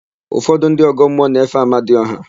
Ụfọdụ ndị ọgọmmụọ na-efe Amadiọha.